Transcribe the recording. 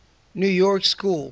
new york school